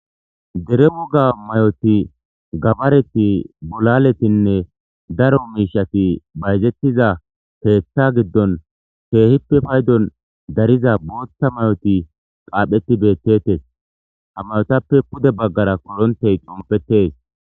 Dere woga mayoti gabaretinne bolaleti daro mishshati bayizetiza keeththa giddoni kehippe payidoni daariza botha mayoti qaphpheti beteesi ha mayotappe pude bagara koroniteyi xonippetesi